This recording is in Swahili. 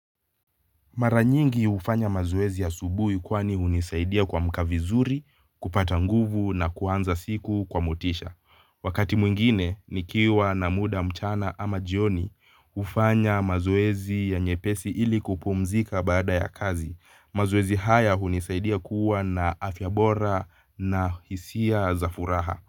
Mara nyingi hufanya mazoezi asubuhi kwani hunisaidia kuamka vizuri, kupata nguvu na kuanza siku kwa motisha. Wakati mwingine, nikiwa na muda mchana ama jioni, hufanya mazoezi ya nyepesi ili kupumzika baada ya kazi. Mazoezi haya hunisaidia kuwa na afya bora na hisia za furaha.